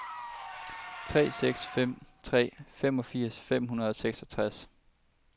tre seks fem tre femogfirs fem hundrede og seksogtres